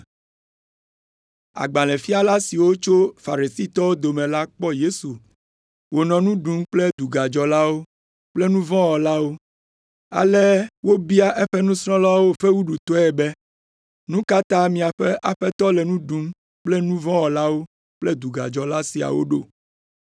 Agbalẽfiala siwo tso Farisitɔwo dome la kpɔ Yesu wònɔ nu ɖum kple dugadzɔlawo kple nu vɔ̃ wɔlawo, ale wobia eƒe nusrɔ̃lawo fewuɖutɔe be, “Nu ka ta miaƒe Aƒetɔ le nu ɖum kple nu vɔ̃ wɔla kple dugadzɔla siawo ɖo?”